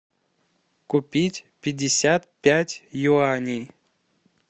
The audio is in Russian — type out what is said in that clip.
купить пятьдесят пять юаней